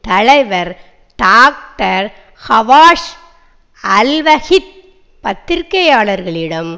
தலைவர் டாக்டர் ஹபாஸ் அல்வஹீத் பத்திரிகையாளர்களிடம்